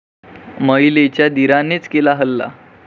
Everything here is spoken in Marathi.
महिलेच्या दीरानेच केला हल्ला